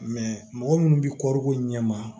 mɔgɔ minnu bɛ kɔɔriko ɲɛ ma